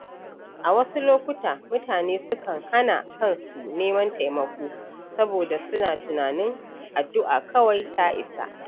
A wasu lokuta, mutane sukan hana kansu neman taimako saboda suna tunanin addu’a kawai ta isa.